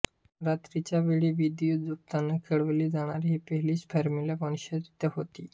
रात्रीच्या वेळी विद्युतझोतात खेळवली जाणारी ही पहिलीच फॉर्म्युला वन शर्यत होती